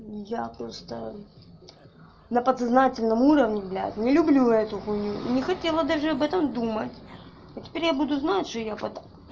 я просто на подсознательном уровне блядь не люблю эту хуйню не хотела даже об этом думать а теперь я буду знать что я под